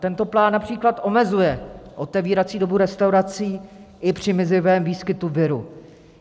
Tento plán například omezuje otevírací dobu restaurací i při mizivém výskytu viru.